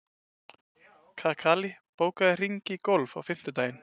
Kakali, bókaðu hring í golf á fimmtudaginn.